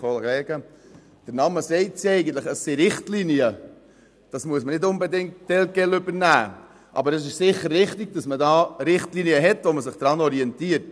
Solche muss man nicht unbedingt telquel übernehmen, aber es ist sicher richtig, dass man sich hier an Richtlinien orientiert.